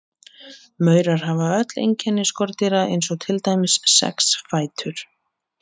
Maurar hafa öll einkenni skordýra eins og til dæmis sex fætur.